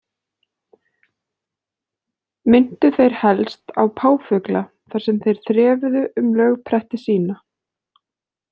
Minntu þeir helst á páfugla þar sem þeir þrefuðu um lögpretti sína.